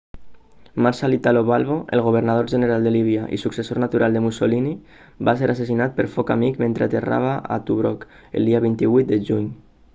marshal italo balbo el governador-general de líbia i successor natural de mussolini va ser assassinat per foc amic mentre aterrava a tobruk el dia 28 de juny